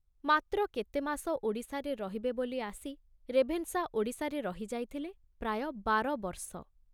ମାତ୍ର କେତେମାସ ଓଡ଼ିଶାରେ ରହିବେ ବୋଲି ଆସି ରେଭେନଶା ଓଡ଼ିଶାରେ ରହି ଯାଇଥିଲେ ପ୍ରାୟ ବାରବର୍ଷ।